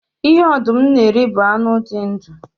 Ihe ọdụm na-eri bụ anụ dị ndu